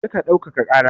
Kar ka ɗaukaka ƙara!